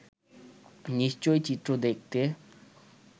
নিশ্চয়ই চিত্র দেখতে